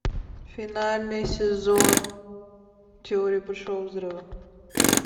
финальный сезон теории большого взрыва